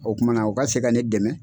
O kuma na u ka se ka ne dɛmɛ.